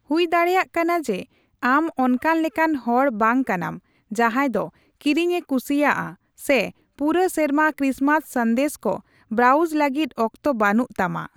ᱦᱩᱭ ᱫᱟᱲᱮᱭᱟᱜ ᱠᱟᱱᱟ ᱡᱮ ᱟᱢ ᱚᱱᱠᱟᱱ ᱞᱮᱠᱟᱱ ᱦᱚᱲ ᱵᱟᱝ ᱠᱟᱱᱟᱢ ᱡᱟᱸᱦᱟᱭ ᱫᱚ ᱠᱤᱨᱤᱧ ᱮ ᱠᱩᱥᱤᱭᱟᱜᱼᱟ ᱥᱮ ᱯᱩᱨᱟᱹ ᱥᱮᱨᱢᱟ ᱠᱨᱤᱥᱢᱟᱥ ᱥᱟᱸᱫᱮᱥ ᱠᱚ ᱵᱨᱟᱩᱡ ᱞᱟᱹᱜᱤᱫ ᱚᱠᱛᱚ ᱵᱟᱹᱱᱩᱜ ᱛᱟᱢᱟ ᱾